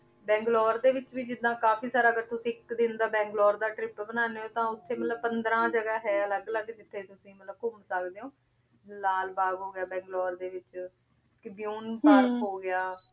ਬਾਗ੍ਲੋਰੇ ਦੇ ਵਿਚ ਵੀ ਜਿਦਾਂ ਕਾਫੀ ਸਾਰਾ ਅਗਰ ਤੁਸੀਂ ਦਿਨ ਦਾ ਬੰਗ੍ਲੋਰੇ ਦਾ trip ਬਨਾਨੀ ਊ ਆਂ ਕੇ ਮਤਲਬ ਪੰਦਰਾਂ ਜਗਾ ਹੈ ਅਲਗ ਅਲਗ ਕੇ ਜਿਥੇ ਤੁਸੀਂ ਮਤਲਬ ਘੁਮ ਸਕਦੇ ਊ ਲਾਲ ਬਾਘ ਹੋਗਯਾ ਬੰਗ੍ਲੋਰੇ ਡੀ ਵਿਚ ਪਾਰਕ ਹੋ ਗਯਾ